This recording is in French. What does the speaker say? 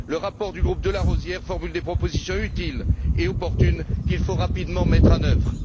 Le rapport du groupe de Larosière formule des propositions utiles et opportunes qu'il faut rapidement mettre en œuvre.